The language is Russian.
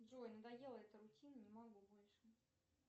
джой надоела эта рутина не могу больше